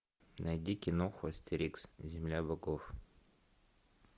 найди киноху астерикс земля богов